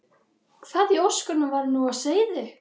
Hvað í ósköpunum var nú á seyði?